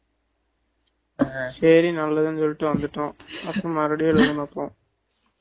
தான் clean பண்ணிட்டு இருக்காங்கன்டாரு சேரி நல்லதுன்னு சொல்லிடு வந்துட்டோம்